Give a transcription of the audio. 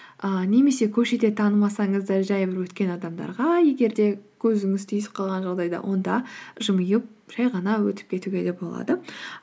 ііі немесе көшеде танымасаңыз да жай бір өткен адамдарға егер де көзіңіз түйісіп қалған жағдайда онда жымиып жай ғана өтіп кетуге де болады